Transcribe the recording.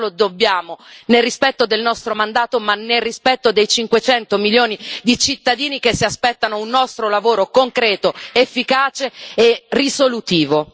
Questo lo dobbiamo nel rispetto del nostro mandato, ma nel rispetto dei 500 milioni di cittadini che si aspettano un nostro lavoro concreto, efficace e risolutivo.